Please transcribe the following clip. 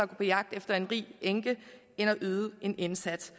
på jagt efter en rig enke end at yde en indsats